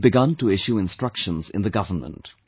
I have already begun to issue instructions in the government